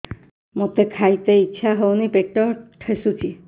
ମୋତେ ଖାଇତେ ଇଚ୍ଛା ହଉନି ପେଟ ଠେସୁଛି